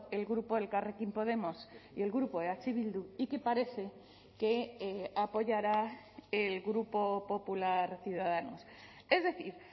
el grupo elkarrekin podemos y el grupo eh bildu y que parece que apoyará el grupo popular ciudadanos es decir